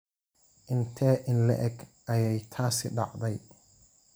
Intee in le'eg ayay taasi dhacday?